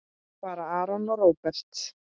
Fara Aron og Róbert?